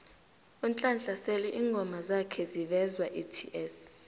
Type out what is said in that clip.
unhlanhla sele ingoma zakha zivezwaets